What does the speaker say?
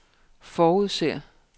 forudser